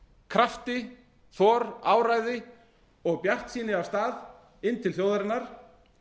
krafti þor áræði og bjartsýni af stað inn til þjóðarinnar